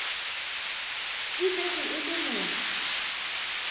e šetše e le motho